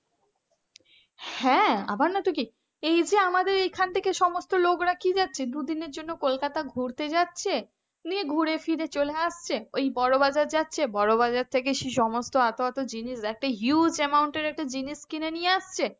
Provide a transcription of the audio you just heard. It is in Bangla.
হ্যাঁ আবার নোই তো কি এই যে আমাদের এখান থেকে সমস্ত লোকরা কি যাচ্ছে দুদিনের জন্য কলকাতা ঘুরতে যাচ্ছে নিয়ে ঘুরে ফিরে চলে আসছে ওই বড়ো বাজার যাচ্ছে ওই বড়ো বাজার থেকে সেই সমস্ত এত এত জিনিস একটা huge amount এর একটা জিনিসকিনে নিয়ে আসছে,